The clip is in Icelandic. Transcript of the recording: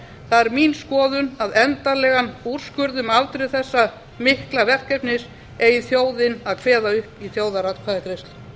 er mín skoðun að endanlegan úrskurð um afdrif þessa mikla verkefnis eigi þjóðin að kveða upp í þjóðaratkvæðagreiðslu